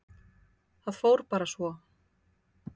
Það fór bara svo.